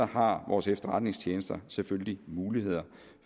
har vores efterretningstjenester selvfølgelig muligheder